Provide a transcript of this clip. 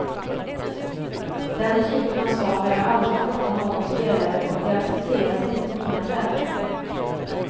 Den typen av svar har jag aldrig fått av någon spelare och de accepteras inte på mina träningar.